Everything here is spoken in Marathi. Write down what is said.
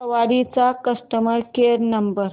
सवारी चा कस्टमर केअर नंबर